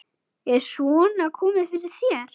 Er svona komið fyrir þér?